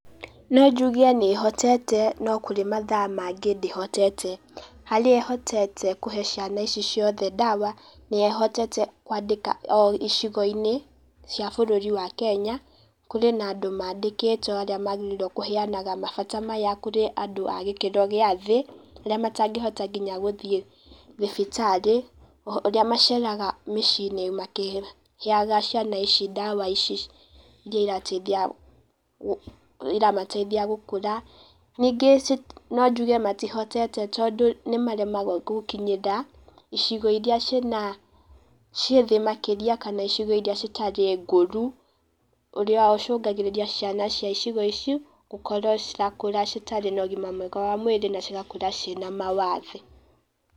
No njuge nĩ ĩhotete no kũrĩ mathaa mangĩ ndĩhotete. Harĩa ĩhotete kũhe ciana ici ciothe ndawa, nĩ ĩhotete kwandĩka o icigo-inĩ cia bũrũri wa Kenya, kũrĩ na andũ mandĩkĩtwo arĩ magĩrĩirwo kũheanaga mabata maya kũrĩ andũ a gĩkĩro gĩa thĩ, arĩa matangĩhota nginya gũthiĩ thibitarĩ, arĩa maceraga mĩciĩ-inĩ makĩheaga ciana ici ndawa ici iria iramateithia gũkũra, ningĩ nonjuge matihotete tondũ nĩ maremagwo gũkinyĩra icigo iria ciĩna, ciĩthĩ makĩria kana icigo iria citarĩ ngũru, ũrĩa ũcũngagĩrĩria ciana cia icigo ici gũkorwo cirakũra citarĩ na ũgima mwega wa mwĩrĩ na cigakũra ciĩna mawathe.